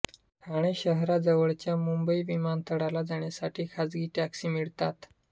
ठाणे शहराजवळच्या मुंबई विमानतळाला जाण्यासाठी खासगी टॅक्सी मिळतात